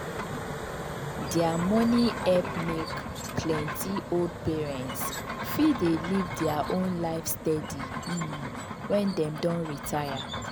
their money help make plenty old parents fit dey live their own life steady um when dem don retire.